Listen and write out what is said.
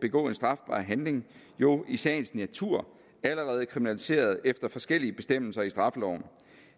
begå en strafbar handling jo i sagens natur allerede kriminaliseret efter forskellige bestemmelser i straffeloven